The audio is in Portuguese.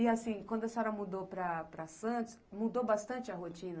E assim, quando a senhora mudou para Santos, mudou bastante a rotina?